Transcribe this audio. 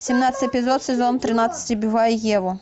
семнадцатый эпизод сезон тринадцать убивая еву